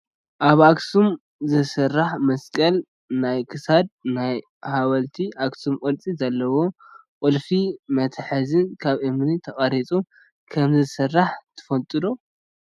ኣብ ኣክሱም ዝስራሕ መስቀል ናይ ክሳድን ናይ ሓወልቲ ኣክሱም ቅርፂ ዘለወ ቁልፊ መትሓዚን ካብ እምኒ ተፀሪቡ ከምዝስራሕ ትፈልጡ ዶ ?